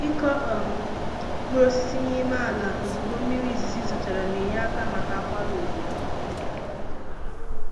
ịkụ um mkpụrụ osisi n'ime ala ozugbo mmiri izizi zochara, n'enye aka maka akwara uto